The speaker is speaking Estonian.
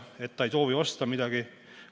Öelda, et ei soovita midagi osta.